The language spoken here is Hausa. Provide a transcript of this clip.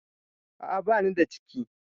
A a banida ciki.